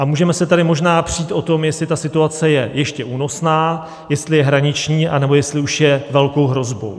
A můžeme se tady možná přít o tom, jestli ta situace je ještě únosná, jestli je hraniční, anebo jestli už je velkou hrozbou.